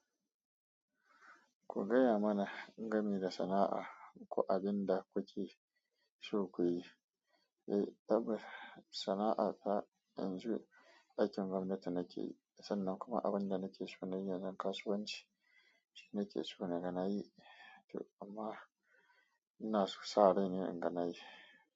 Ku gaya mana game da sana'a ko abin da kuke so kuyi. Eh, akwai sana'a ta yanzu aikin gomnati nake yi, sannan kuma abun da nake so nayi akan kasuwan ci nake so naga nayi to amma ina sa rai ne inga nayi.